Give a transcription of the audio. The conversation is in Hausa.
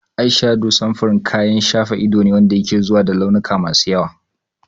Ayshado samfurin kayan shafa ido ne wanda ke zuwa cikin launuka masu yawa.